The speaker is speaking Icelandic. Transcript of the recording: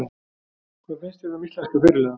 Hvað fannst þér um íslenska fyrirliðann?